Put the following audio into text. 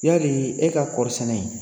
Yali e ka kɔri sɛnɛ in